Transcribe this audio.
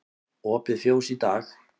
Opið fjós í dag